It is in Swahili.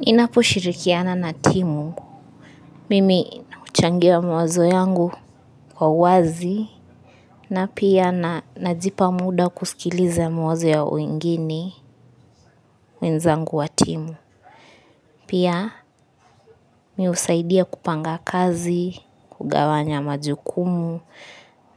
Ninapo shirikiana na timu. Mimi uchangia mwawazo yangu kwa uwazi, na pia najipa muda kusikiliza mawazo ya wengine wenzangu wa timu. Pia mimi husaidia kupanga kazi, kugawanya majukumu